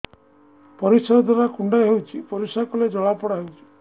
ପରିଶ୍ରା ଦ୍ୱାର କୁଣ୍ଡେଇ ହେଉଚି ପରିଶ୍ରା କଲେ ଜଳାପୋଡା ହେଉଛି